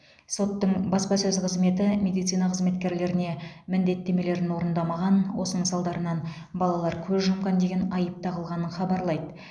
соттың баспасөз қызметі медицина қызметкерлеріне міндеттемелерін орындамаған осының салдарынан балалар көз жұмған деген айып тағылғанын хабарлайды